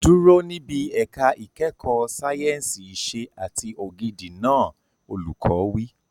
Dúró níbi ẹ̀ka ìkẹ́kọ̀ọ́ sáyẹ̀nsì ìṣe àti ògidì náà! Olùkọ́ wí.